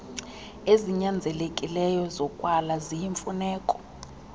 ezinyanzelekileyo zokwala ziyimfuneko